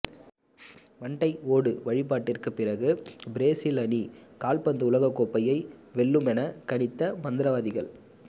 மண்டை ஓடு வழிபாட்டிற்கு பிறகு பிரேசில் அணி கால்பந்து உலக கோப்பையை வெல்லுமென கணித்த மந்திரவாதிகள்